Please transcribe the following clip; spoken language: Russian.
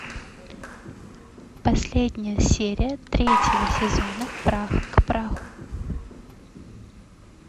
последняя серия третьего сезона прах к праху